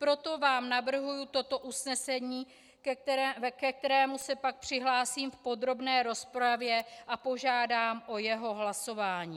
Proto vám navrhuji toto usnesení, ke kterému se pak přihlásím v podrobné rozpravě, a požádám o jeho hlasování.